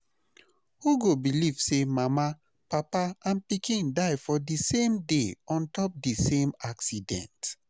Who go believe say mama, papa and pikin die for the same day on top the same accident